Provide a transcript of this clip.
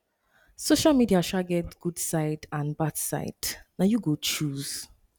social media um get good side and bad side na you go choose